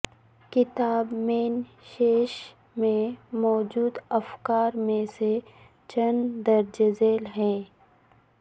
کتاب مین شیس میں موجود افکار میں سے چند درج ذیل ہیں